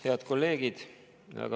Head kolleegid!